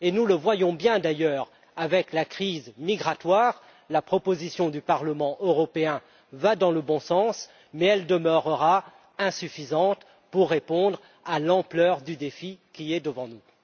Nous le voyons bien d'ailleurs avec la crise migratoire la proposition du Parlement européen va dans le bon sens, mais elle demeurera insuffisante pour répondre à l'ampleur du défi qui est devant nous.